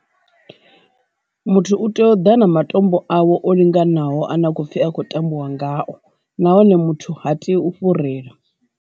Muthu u tea u ḓa na matombo awe o linganaho a ne a khou pfi a khou tambiwa ngayo na hone muthu ha tei u fhurela.